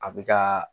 A bɛ ka